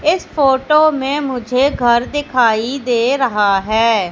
इस फोटो में मुझे घर दिखाई दे रहा है।